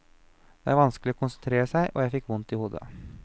Det var vanskelig å konsentrere seg og jeg fikk vondt i hodet.